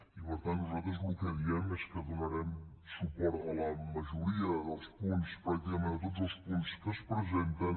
i per tant nosaltres el que diem és que donarem suport a la majoria dels punts pràcticament a tots els punts que es presenten